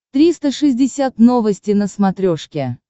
триста шестьдесят новости на смотрешке